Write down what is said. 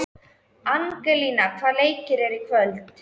Gangi þér allt í haginn, Mummi.